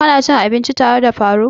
Ka na cin abinci tare da faruk?